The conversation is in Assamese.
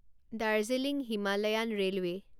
Darjeeling Himalayan railway